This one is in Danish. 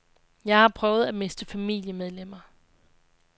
Jeg har prøvet at miste familiemedlemmer.